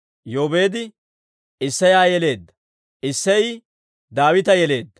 Yoobeedi Isseya yeleedda; Isseyi Daawita yeleedda.